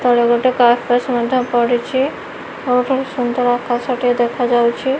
ତଳେ ଗୋଟେ କାର୍ପସ ମଧ୍ୟ ପଡିଚି ଆଉ ଏଠି ସୁନ୍ଦର୍ ଆକାଶ ଟିଏ ଦେଖାଯାଉଛି।